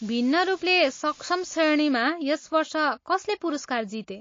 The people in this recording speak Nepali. भिन्न रूपले सक्षम श्रेणीमा यस वर्ष कसले पुरस्कार जिते?